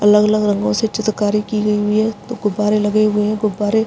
अलग-अलग रंगों से चित्रकारी की गई हुई है दो गुब्बारे लगे हुए हैं गुब्बारे --